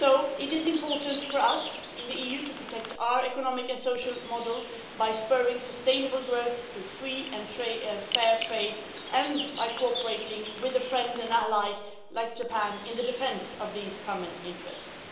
It is important for us in the EU to protect our economic and social model by spurring sustainable growth through free and fair trade and by cooperating with a friend and ally like Japan in the defence of these common interests.